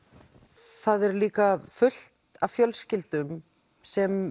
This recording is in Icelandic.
það eru líka fullt af fjölskyldum sem